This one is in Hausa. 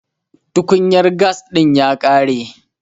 tukunyar gas din ya kare